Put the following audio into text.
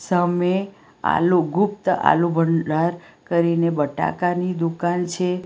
સામે આલુ ગુપ્તા આલુ ભંડાર કરીને બટાકાની દુકાન છે.